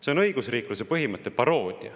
See on õigusriikluse põhimõtte paroodia.